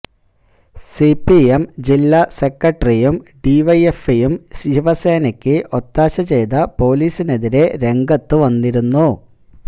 CPM ജില്ലാ സെക്രട്ടറിയും ഡി വൈ എഫ് ഐയും ശിവസേനയ്ക്ക് ഒത്താശ ചെയ്ത പോലീസിനെതിരെ രംഗത്ത് വന്നിരുന്നു